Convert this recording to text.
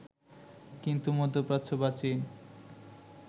কিন্তু মধ্যপ্রাচ্য বা চীন